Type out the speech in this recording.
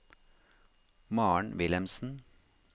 Maren Wilhelmsen